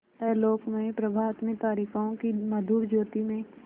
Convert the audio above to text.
आलोकमय प्रभात में तारिकाओं की मधुर ज्योति में